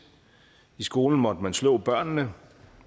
i skolen måtte man slå børnene